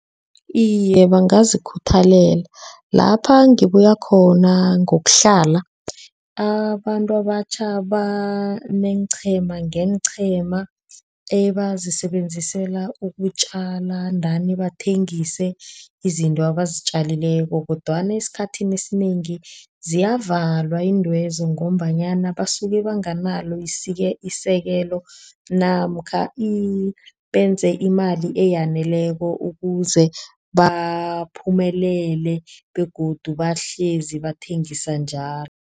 Iye bangazikhuthalela lapha ngibuye khona ngokuhlala abantu abatjha baneenqhema ngenqhema ebazisebenzislela ukutjala. Ndani bathengise izinto abazitjalileko kodwana esikhathini esinengi ziyavalwa iintwezo ngombanyana basuke banganalo isekelo namkha benze imali eyaneleko. Ukuze baphumelele begodu bahlezi bathengisa njalo.